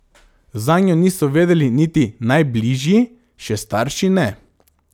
Zanjo niso vedeli niti najbližji, še starši ne.